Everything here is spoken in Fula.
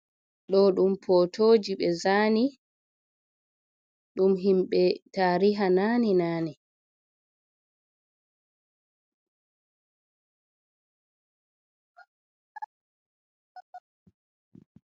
Ɗo ɗum potoji ɓe zani ɗum himɓɓe tariha nane nane.